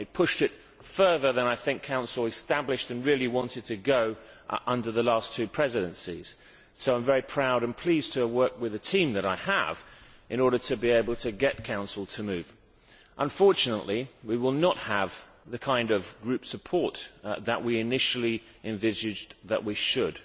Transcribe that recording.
It pushed it further than I think the Council established and really wanted to go under the last two presidencies, so I am very proud and pleased to have worked with the team that I have in order to be able to get the Council to move. Unfortunately we will not have the kind of group support that we initially envisaged that we should,